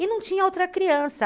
não tinha outra criança.